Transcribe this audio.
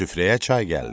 Süfrəyə çay gəldi.